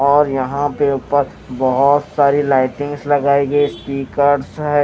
और यहां पे ऊपर बहुत सारी लाइटिंग्स लगाई गई स्पीकर्स है।